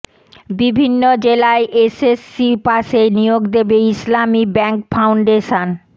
বিভিন্ন জেলায় এসএসসি পাসে নিয়োগ দেবে ইসলামী ব্যাংক ফাউন্ডেশন